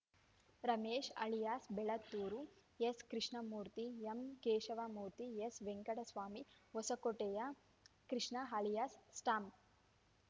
Ramesh alias Belathur S Krishnamurthy M Keshava Murthy S Venkataswamy ಹೊಸಕೋಟೆಯ Krishna alias stamp